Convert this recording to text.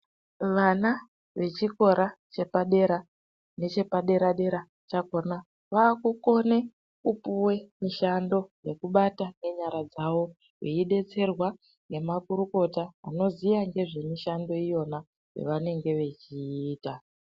Vana vechikora chepadera nechepadera dera chakona vakukone kupuwe mishando yekubata ngenyara dzawo veidetserwa ngemakurukota vanoziya ngezvemushando iyona yavanenge vechiita.